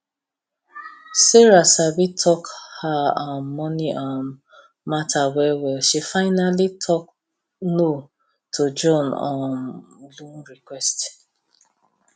sarah sabi talk her um money um matter well well she finally talk no to john um loan request